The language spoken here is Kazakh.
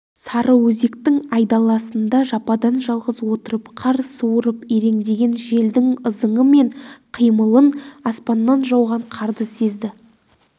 сарыөзектің айдаласында жападан жалғыз отырып қар суырып иреңдеген желдің ызыңы мен қимылын аспаннан жауған қарды сезді